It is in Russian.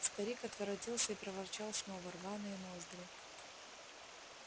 старик отворотился и проворчал слова рваные ноздри